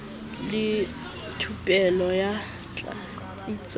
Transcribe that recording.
le thupelo ya tlatsetso ya